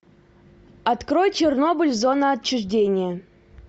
открой чернобыль зона отчуждения